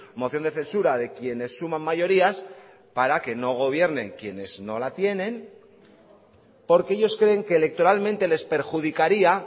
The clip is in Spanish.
moción de censura de quienes suman mayorías para que no gobiernen quienes no la tienen porque ellos creen que electoralmente les perjudicaría